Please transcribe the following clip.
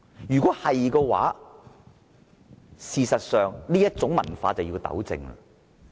如果他說的是實情的話，這種文化必須糾正。